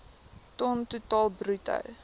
ton totaal bruto